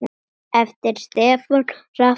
eftir Stefán Hrafn Jónsson